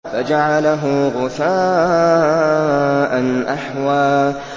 فَجَعَلَهُ غُثَاءً أَحْوَىٰ